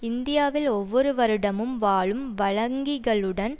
இந்தியாவில் ஒவ்வொரு வருடமும் வாழும் வழங்கிகளுடன்